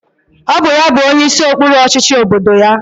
Ọ bụ ya bụ onyeisi okpuru ọchịchị obodo ya.